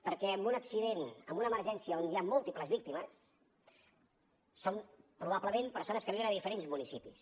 perquè en un accident en una emergència on hi ha múltiples víctimes són probablement persones que viuen a diferents municipis